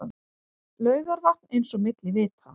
Laugarvatn eins og milli vita.